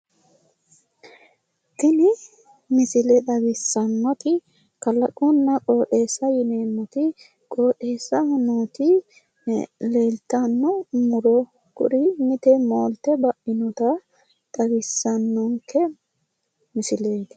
tini misile xawissannoti kalaqonna qooxeessa yineemmoti qooxeessaho nooti leeltanno muro mite moolte baino muro xawissanonke misileeti.